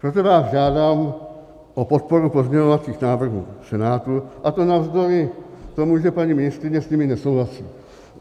Proto vás žádám o podporu pozměňovacích návrhů Senátu, a to navzdory tomu, že paní ministryně s nimi nesouhlasí.